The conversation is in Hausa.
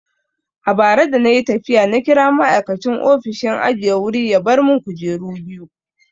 A bara dana yi tafiya na kira ma'aikacin ofishin ajiye wuri ya bar mun kujeru biyu.